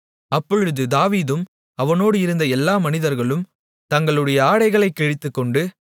அப்பொழுது தாவீதும் அவனோடு இருந்த எல்லா மனிதர்களும் தங்களுடைய ஆடைகளைக் கிழித்துக்கொண்டு